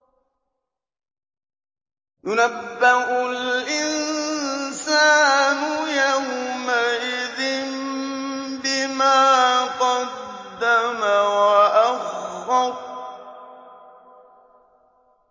يُنَبَّأُ الْإِنسَانُ يَوْمَئِذٍ بِمَا قَدَّمَ وَأَخَّرَ